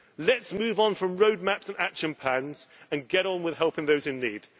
Let us move on from road maps and action plans and get on with helping those in need.